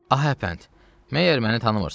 Hə əfənd, məyər məni tanımırsan?